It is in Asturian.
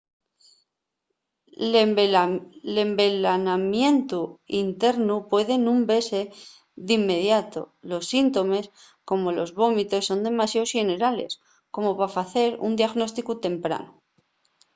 l’envelanamientu internu puede nun vese d’inmediato. los síntomes como los vómitos son demasiao xenerales como pa facer un diagnósticu tempranu